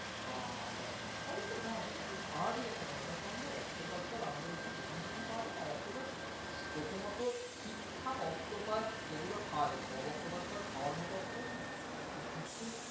বা~বা অবশ্য হ্যাঁ, সেটায় খুব স্বাভাবিক একটা কথা তার কারণ ধর octopus তো আর আমাদের এখানে যেখানে সেখানে পাওয়া যায় না। octopus প্রথমত ঠিকঠাক octopus যেগুলো খাওয়া যায় সব octopus তো আর খাওয়ার মতো octopus না। তবে কিছু,